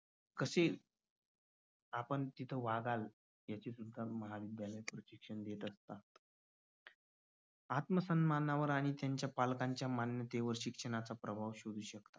कसे आपण तिथे वागाल याचे उत्तम उदाहरण आत्मसन्मानावर आणि त्यांच्या पालकांच्या मान्यतेवर शिक्षणाचा प्रभाव